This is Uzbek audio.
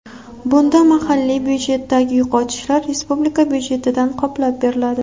Bunda mahalliy budjetdagi yo‘qotishlar respublika budjetidan qoplab beriladi.